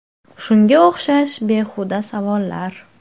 Shunga o‘xshash behuda savollar.